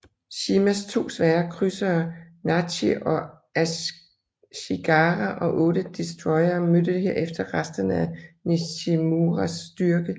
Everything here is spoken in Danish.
Shimas to svære krydsere Nachiog Ashigara og 8 destroyere mødte herefter resterne af Nishimuras styrke